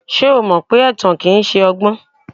Ṣé o mọ pé ẹ̀tàn kìí ṣọgbọ́n?